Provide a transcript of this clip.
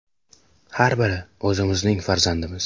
Har biri o‘zimizning farzandimiz.